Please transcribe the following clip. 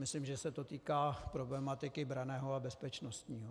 Myslím, že se to týká problematiky branného a bezpečnostního.